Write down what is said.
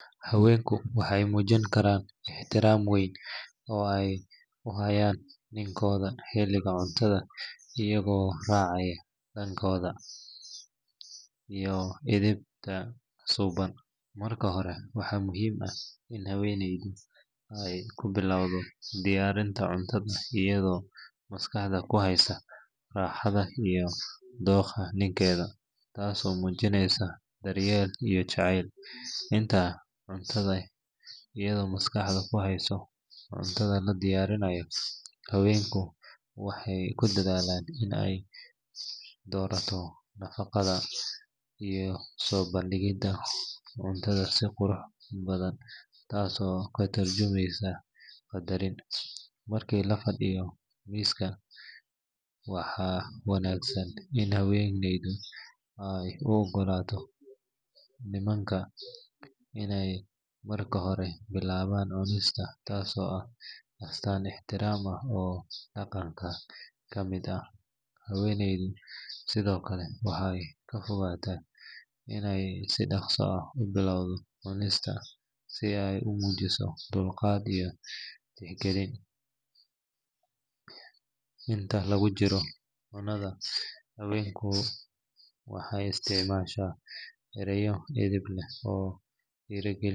Haweenku waxay muujin karaan ixtiraam weyn oo ay u hayaan nimankooda xilliga cuntada iyagoo raacaya dhaqanka iyo edebta suuban. Marka hore, waxaa muhiim ah in haweeneydu ay ku bilowdo diyaarinta cuntada iyadoo maskaxda ku haysa raaxada iyo dookha ninkeeda, taasoo muujinaysa daryeel iyo jacayl. Inta cuntada la diyaarinayo, haweeneydu waxay ku dadaalaysaa in ay dhowrto nadaafadda iyo soo bandhigidda cuntada si qurux badan taas oo ka tarjumaysa qadarin. Markii la fadhiyo miiska, waxaa wanaagsan in haweeneydu ay u ogolaato nimanka inay marka hore bilaabaan cunista taasoo ah astaan ixtiraam ah oo dhaqanka ka mid ah. Haweeneydu sidoo kale waxay ka fogaataa inay si dhaqso ah u bilowdo cunista si ay u muujiso dulqaad iyo tixgelin. Inta lagu jiro cunnada, haweeneydu waxay isticmaashaa erayo edeb leh oo dhiirrigelinaya.